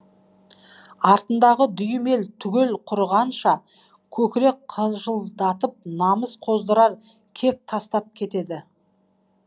артындағы дүйім ел түгел құрығанша көкірек қыжылдатып намыс қоздырар кек тастап кетеді